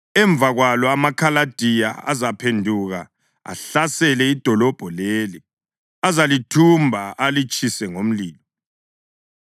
Emva kwalokho amaKhaladiya azaphenduka ahlasele idolobho leli; azalithumba alitshise ngomlilo.’